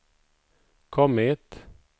kommit